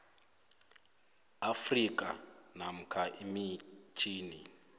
afrika namkha emitjhini